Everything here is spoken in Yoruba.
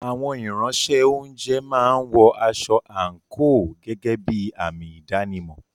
Àwọn Ìránṣẹ́-oúnjẹ máa ń wọ aṣọ àǹkóò gẹ́gẹ́ bí àmì ìdánimọ̀.